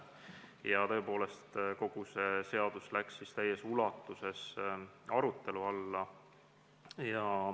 Ja tõepoolest, kogu see seadus läks tookord täies ulatuses arutelu alla.